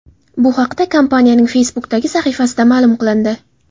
Bu haqda kompaniyaning Facebook’dagi sahifasida ma’lum qilindi .